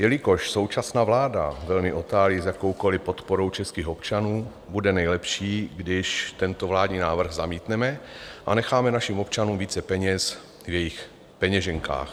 Jelikož současná vláda velmi otálí s jakoukoli podporou českých občanů, bude nejlepší, když tento vládní návrh zamítneme a necháme našim občanům více peněz v jejich peněženkách.